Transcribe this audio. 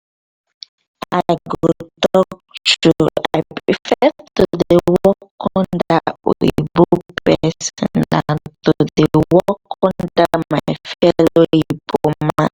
i go talk true i prefer to dey work under oyinbo person dan to dey under my fellow igbo man